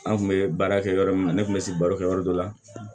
An kun bɛ baara kɛ yɔrɔ min na ne kun bɛ sigi baro kɛ yɔrɔ dɔ la